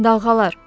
Dalğalar.